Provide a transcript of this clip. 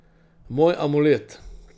Moj amulet.